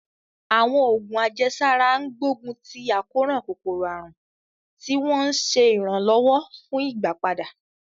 Àwọn oògùn àjẹsára ń gbógun ti àkóràn kòkòrò àrùn, tí wọ́n ń ṣe ìrànlọ́wọ́ fún ìgbàpadà.